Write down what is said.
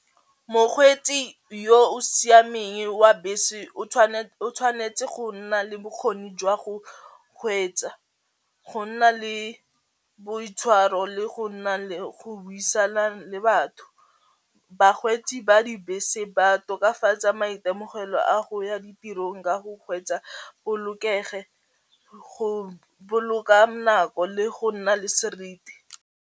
Mokgweetsi yo o siameng wa bese o tshwanetse go nna le bokgoni jwa go kgweetsa, go nna le boitshwaro le go nna le go buisana le batho. Bakgweetsi ba dibese ba tokafatsa maitemogelo a go ya ditirong ka go kgweetsa bolokege go boloka nako le go nna le seriti.